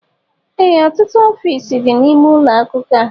Ee ọtụtụ ọfiisi dị n'ime ụlọ akwụkwọ a